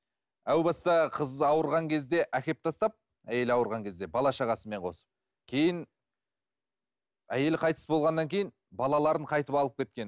әу баста қыз ауырған кезде әкеліп тастап әйелі ауырған кезде бала шағасымен қосып кейін әйелі қайтыс болғаннан кейін балаларын қайтып алып кеткен